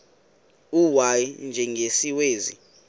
u y njengesiwezi